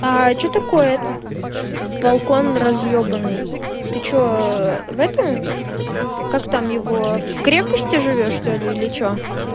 а что такое этот балкон разъёбанный ты что в этом как там его в крепости живёшь что ли или что